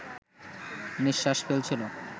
নিঃশ্বাস ফেলছিল